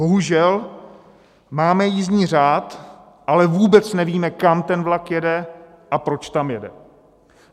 Bohužel, máme jízdní řád, ale vůbec nevíme, kam ten vlak jede a proč tam jede.